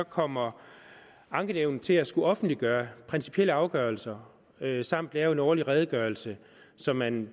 kommer ankenævnet til at skulle offentliggøre principielle afgørelser samt lave en årlig redegørelse som man